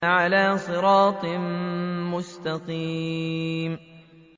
عَلَىٰ صِرَاطٍ مُّسْتَقِيمٍ